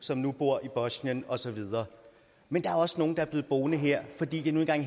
som nu bor i bosnien og så videre men der er også nogle der er blevet boende her fordi de nu engang